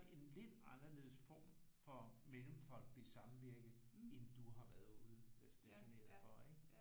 En lidt anderledes form for Mellemfolkelig Samvirke end du har været udstationeret for ikke